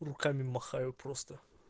руками махаю просто